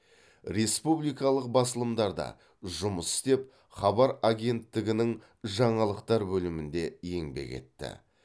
республикалық басылымдарда жұмыс істеп хабар агенттігінің жаңалықтар бөлімінде еңбек етті